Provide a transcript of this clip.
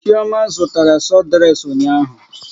Chioma zụtara sọdreks ụnyaahụ.